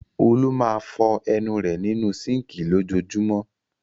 Olú máa fọ ẹnu rẹ̀ nínú síńkì lójoojúmọ́.